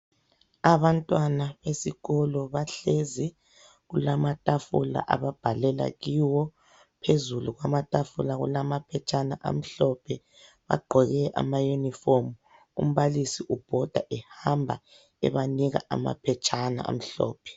Abantwana esikolo bahlezi, kulamatafula ababhalela kiwo phezulu kwamatafula kulamaphetshana amhlophe. Bagqoke amauniform. Umbalisi ubhoda ehamba ebanika amaphetshana amhlophe.